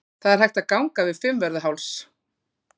Það er hægt að ganga yfir Fimmvörðuháls.